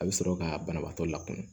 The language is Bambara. A bɛ sɔrɔ ka banabaatɔ lakɔnɔ